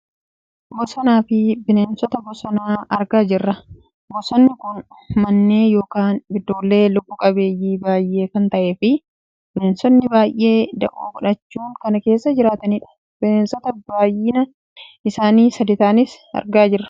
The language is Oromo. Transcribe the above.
bosonaafi bineensota bosonaa argaa jirra. Bosonni kun mannee yookaan biddoollee lubbu qabeenyii baayyee kan ta'e fi bineensonni baayyee da'oo godhachuun kan keessa jiraatanidha. Bineensota baayyinni isaanii sadi ta'anis argaa jirra.